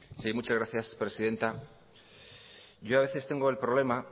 sí muchas gracias presidenta yo a veces tengo el problema